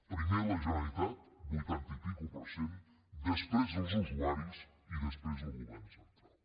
primer la generalitat vuitanta i escaig per cent després els usuaris i després el govern central